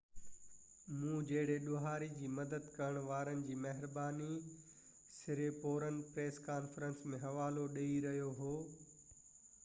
مون جهڙي ڏوهاري جي مدد ڪرڻ وارن جي مهرباني سريپورن پريس ڪانفرنس ۾ حوالو ڏيئي رهيو هو